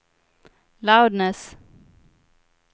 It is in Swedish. loudness